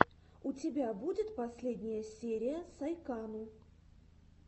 у тебя будет последняя серия сайкану